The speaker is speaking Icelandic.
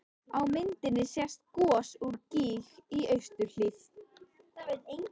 Á myndinni sést gos úr gíg í austurhlíð